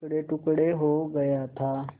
टुकड़ेटुकड़े हो गया था